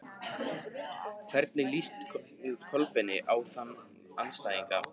Hvernig líst Kolbeini á þá andstæðinga?